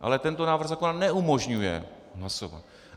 Ale tento návrh zákona neumožňuje hlasovat.